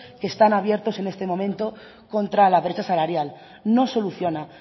que están abiertos en este momento contra la brecha salarial no soluciona